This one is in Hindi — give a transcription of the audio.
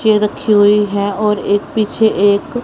चेयर रखी हुई है और एक पीछे एक--